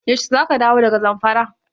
Yaushe za ka dawo daga Zamfara?